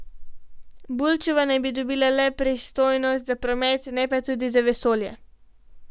Bulčeva naj bi dobila le pristojnosti za promet, ne pa tudi za vesolje.